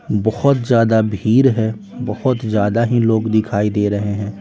बहुत ज्यादा भीड़ है बहुत ज्यादा ही लोग दिखाई दे रहे हैं।